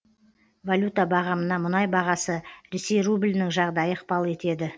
валюта бағамына мұнай бағасы ресей рублінің жағдайы ықпал етеді